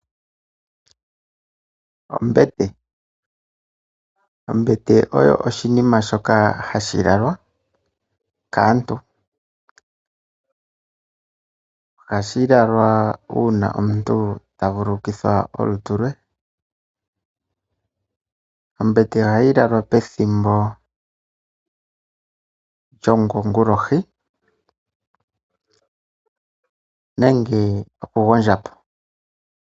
Ombete! Ombete oyo oshinima shoka hashi lalwa kaantu. Ohashi lalwa uuna omuntu ta vululukitha olutu lwe. Ombete ohayi lalwa pethimbo lyokongulohi nenge okugondja po.